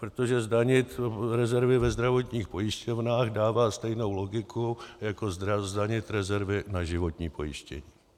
Protože zdanit rezervy ve zdravotních pojišťovnách dává stejnou logiku jako zdanit rezervy na životní pojištění.